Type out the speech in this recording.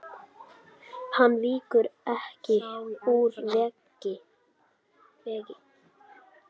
Hann víkur ekki úr vegi.